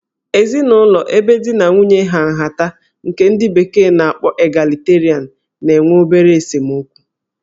Ezinụlọ ebe di na nwunye ha nhata nke ndi bekee n'akpọ 'Egalitarian' na-enwe obere esemokwu